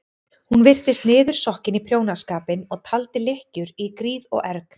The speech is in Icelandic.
Hún virtist niðursokkin í prjónaskapinn og taldi lykkjur í gríð og erg.